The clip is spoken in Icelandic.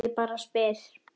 Bréf frá Gallerí Borg.